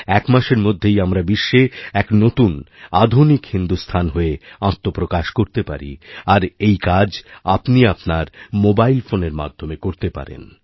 এক মাসের মধ্যেই আমরা বিশ্বে একনতুন আধুনিক হিন্দুস্থান হয়ে আত্মপ্রকাশ করতে পারি আর এই কাজ আপনি আপনার মোবাইলফোনের মাধ্যমে করতে পারেন